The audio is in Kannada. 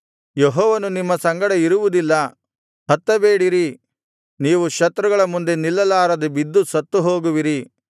ಯೆಹೋವನು ನಿಮ್ಮ ಸಂಗಡ ಇರುವುದಿಲ್ಲ ಹತ್ತಬೇಡಿರಿ ನೀವು ಶತ್ರುಗಳ ಮುಂದೆ ನಿಲ್ಲಲಾರದೆ ಬಿದ್ದು ಸತ್ತುಹೋಗುವಿರಿ